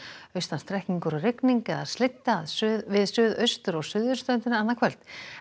austan strekkingur og rigning eða við suðaustur og suðurströndina annað kvöld